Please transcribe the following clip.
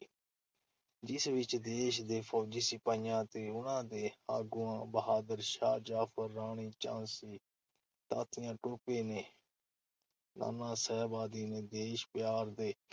ਜਿਸ ਵਿਚ ਦੇਸ਼ ਦੇ ਫ਼ੌਜੀ ਸਿਪਾਹੀਆਂ ਅਤੇ ਉਨ੍ਹਾਂ ਦੇ ਆਗੂਆਂ ਬਹਾਦਰ ਸ਼ਾਹ ਜ਼ਫ਼ਰ, ਰਾਈ ਝਾਂਸੀ, ਤਾਂਤੀਆਂ ਟੋਪੇ ਤੇ ਨਾਨਾ ਸਾਹਿਬ ਆਦਿ ਨੇ ਦੇਸ਼-ਪਿਆਰ ਦੇ